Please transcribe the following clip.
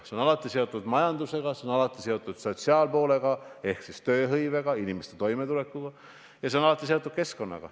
Säästev areng on alati seotud majandusega, see on alati seotud sotsiaalse aspektiga ehk tööhõivega ja inimeste toimetulekuga ning see on alati seotud keskkonnaga.